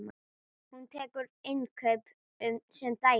Hún tekur innkaup sem dæmi.